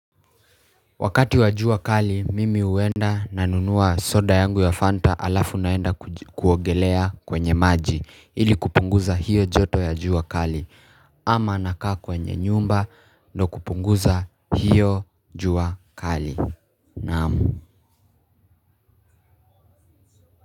Wakati wa jua kali, mimi huenda nanunua soda yangu ya Fanta alafu naenda kuogelea kwenye maji ili kupunguza hiyo joto ya jua kali. Ama nakaa kwenye nyumba ndo kupunguza hiyo jua kali. Naam.